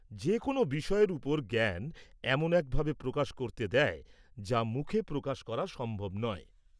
-যেকোনো বিষয়ের ওপর জ্ঞান এমন এক ভাবে প্রকাশ করতে দেয়, যা মুখে প্রকাশ করা সম্ভব নয়।